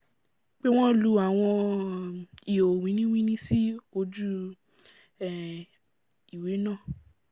pé wọ́n lu àwọn um ihò wíní-wíní sí gbogbo ojú um ìwé náà